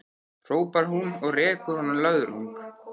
hrópar hún og rekur honum löðrung.